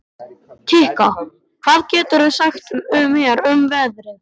Kikka, hvað geturðu sagt mér um veðrið?